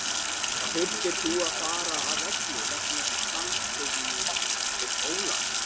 Þurftir þú að fara af velli vegna samstuðsins við Ólaf?